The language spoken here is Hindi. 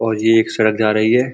और ये एक सड़क जा रही है।